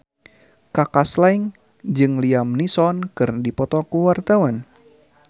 Kaka Slank jeung Liam Neeson keur dipoto ku wartawan